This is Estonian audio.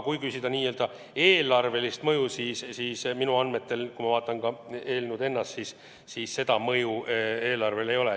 Kui küsida n-ö eelarvelist mõju, siis minu andmetel sel eelnõul eelarvele mõju ei ole.